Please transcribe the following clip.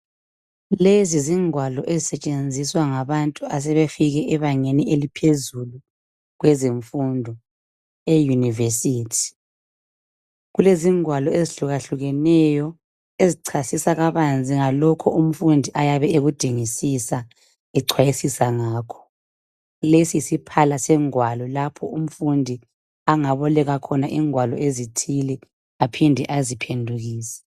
Lezi zingwalo ezisetshenziswa ngabantu asebefike ebangeni eliphezulu kwezemfundo ,euniversity. Kulezingwalo ezihlukahlukeneyo ezichazisa kabanzi ngalokho umfundi ayabe ekudingisisa echwayisisa ngakho. Lesi yisiphala sengwalo lapho umfundi angaboleka khona ingwalo ezithile aphinde aziphendukise.